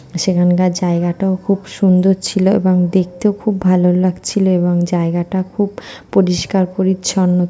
সেখানকার জায়গাটাও খুব সুন্দর ছিল এবং দেখতেও খুব ভালো লাগছিল এবং জায়গাটা খুব পরিষ্কার পরিচ্ছন্ন।